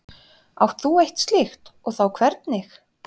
Átt þú eitt slíkt og þá hvernig?